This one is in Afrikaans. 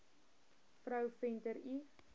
vrou venter l